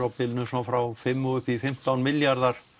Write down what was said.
svona frá fimm og upp í fimmtán milljarðar